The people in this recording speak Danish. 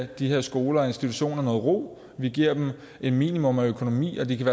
de her skoler og institutioner noget ro vi giver dem et minimum af økonomi og de kan